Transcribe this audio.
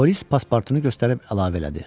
Polis pasportunu göstərib əlavə elədi.